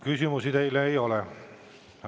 Küsimusi teile ei ole.